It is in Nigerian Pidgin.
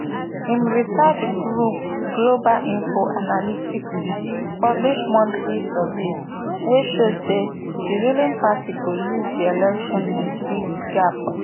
im research group global info analyticspublish monthly surveys wey show say di ruling party go lose di election wit big gap